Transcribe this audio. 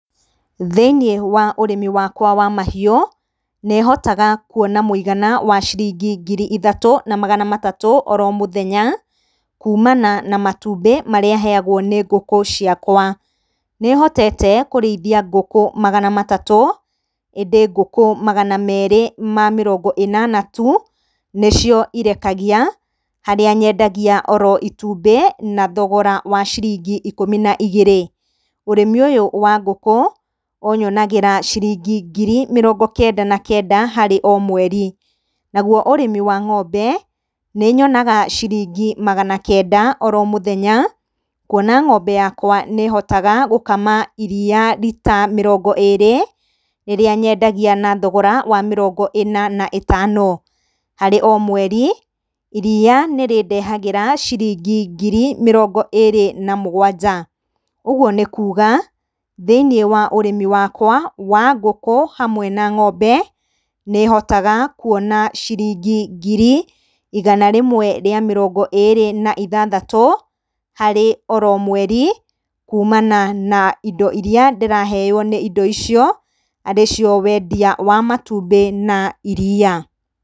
Thĩinĩ wa ũrĩmi wakwa wa mahiũ, nĩhotaga kuona mũigana wa ciringi ngiri ithatũ na magana matatũ oro mũthenya kumana na matumbĩ marĩa heyagwo nĩ ngũkũ ciakwa. Nĩhotete kũrĩithia ngũkũ magana matatũ ĩndĩ ngũkũ magana merĩ ma mĩrongo ĩnana tu nĩcio irekagia harĩa nyendagia oro itumbĩ na thogora wa ciringi ikumi na igĩrĩ. Ũrĩmi ũyũ wa ngũkũ ũyonagĩra ciringi ngiri mĩrongo kenda na kenda harĩ o mweri. Naguo ũrĩmi wa ng'ombe nĩnyonaga ciringi magana kenda oro mũthenya kuona ng'ombe yakwa nĩhotaga gũkama iriya rita mĩrongo ĩrĩ rĩrĩa nyendagia na thogora wa mĩrongo ĩna na ĩtano. Harĩ o mweri iriya nĩrĩndehagĩra ciringi ngiri mĩrongo ĩrĩ na mũgwanja. Ũguo nĩ kuga thĩinĩ wa ũrĩmi wakwa wa ngũkũ hamwe na ng'ombe nĩhotaga kuona ciringi ngiri igana rĩmwe rĩa mĩrongo ĩrĩ na ithathatũ harĩ oro mweri kumana na indo iria ndĩraheyo nĩ indo icio arĩcio wendia wa matumbĩ na iriya.